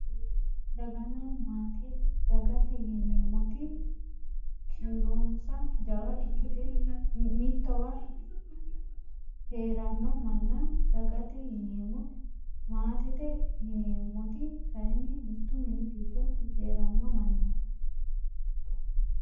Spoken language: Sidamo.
Daganna maate dagate yineemmoti kiironsa jawa ikke mittowa heeranno manna dagate yineemmo maatete yineemmoti kayinni mittu mini giddo heeranno mannaati